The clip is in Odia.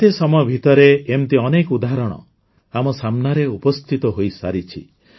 ଏତେ ସମୟ ଭିତରେ ଏଇମିତି ଅନେକ ଉଦାହରଣ ଆମ ସାମ୍ନାରେ ଉପସ୍ଥିତ ହୋଇସାରିଛି